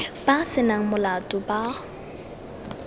ba se nang molato ba